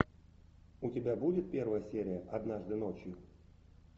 у тебя будет первая серия однажды ночью